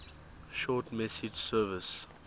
short message service